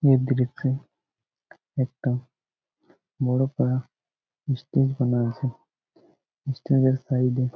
এই দৃশ্য একটা বড় করা স্টিল আছে। স্টিল এর সাইড এ--